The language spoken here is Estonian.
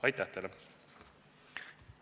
Aitäh teile!